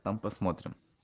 там посмотрим